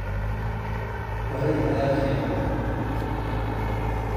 Horeey ayaa fiican.